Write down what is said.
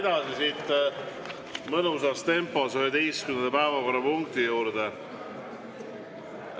Läheme siit mõnusas tempos edasi, 11. päevakorrapunkti juurde.